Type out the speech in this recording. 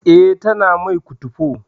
Eh, ta mai kutufo